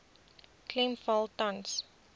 klem val tans